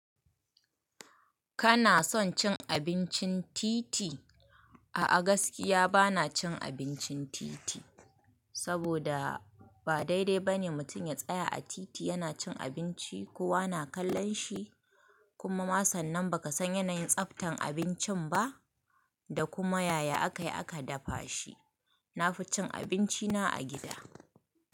Kana son cin abincin titi? A a gaskiya bana cin abincin titi, saboda ba daidai bane mutum ya tsaya a titi yana cin abinci, kowa na kallon shi kuma ma sannan baka san yanayin tsaftan abincin ba da kuma yaya aka yi aka dafa shi. Na fi cin abinci na a gida.